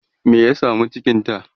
me ya samu cikinta?